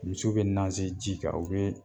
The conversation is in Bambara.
Musow bɛ naze ji kan u be